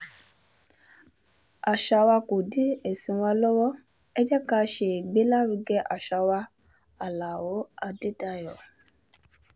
àṣà wa kò dí ẹ̀sìn wa lọ́wọ́ ẹ̀ jẹ́ ká ṣègbélárugẹ àṣà wa aláọ̀ adédáyò